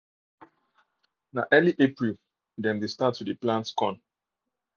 na early april dem de start um to dey plant corn